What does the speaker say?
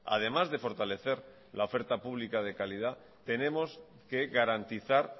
además de fortalecer la oferta pública de calidad tenemos que garantizar